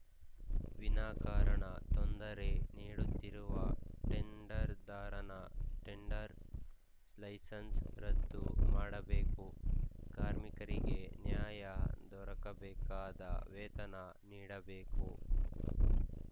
ವಿನಾಕಾರಣ ತೊಂದರೆ ನೀಡುತ್ತಿರುವ ಟೆಂಡರ್‌ದಾರನ ಟೆಂಡರ್‌ ಲೈಸೆನ್ಸ್‌ ರದ್ದು ಮಾಡಬೇಕು ಕಾರ್ಮಿಕರಿಗೆ ನ್ಯಾಯ ದೊರಕಬೇಕಾದ ವೇತನ ನೀಡಬೇಕು